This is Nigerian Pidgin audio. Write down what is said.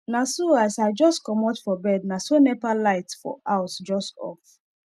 naso as i jus comot for bed naso nepa light for house jus off